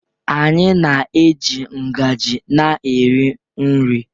anyị na-eji ngaji na-eri nri